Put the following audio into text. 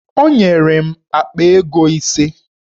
Onyere m akpa ego ise